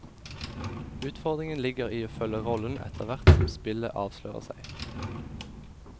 Utfordringen ligger i å følge rollen etterhvert som spillet avslører seg.